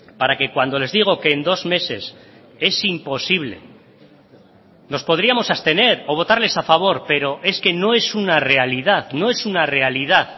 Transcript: para que cuando les digo que en dos meses es imposible nos podríamos abstener o votarles a favor pero es que no es una realidad no es una realidad